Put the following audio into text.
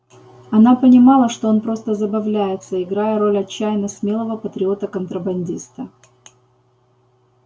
она понимала что он просто забавляется играя роль отчаянно смелого патриота-контрабандиста